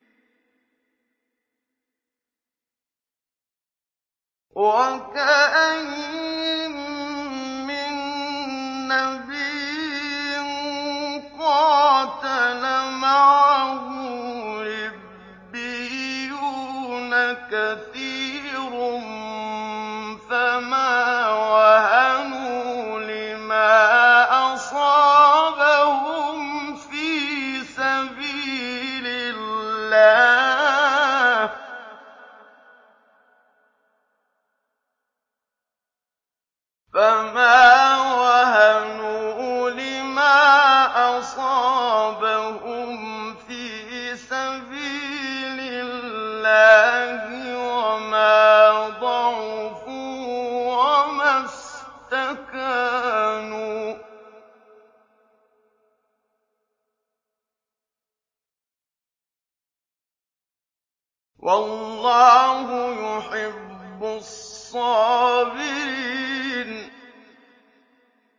وَكَأَيِّن مِّن نَّبِيٍّ قَاتَلَ مَعَهُ رِبِّيُّونَ كَثِيرٌ فَمَا وَهَنُوا لِمَا أَصَابَهُمْ فِي سَبِيلِ اللَّهِ وَمَا ضَعُفُوا وَمَا اسْتَكَانُوا ۗ وَاللَّهُ يُحِبُّ الصَّابِرِينَ